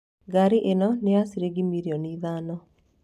Ngari ĩno nĩ ya ciringi mirioni ithano